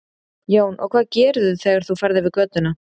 Jón: Og hvað gerirðu þegar þú ferð yfir götuna?